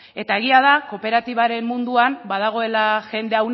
eta egia da kooperatibaren munduan badagoela jende